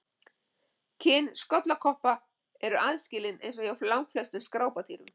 Kyn skollakoppa eru aðskilin eins og hjá langflestum skrápdýrum.